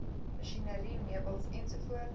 masjinerie meubels ens